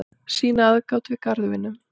sýna aðgát við garðvinnu